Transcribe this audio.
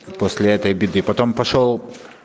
после этой беды потом пошёл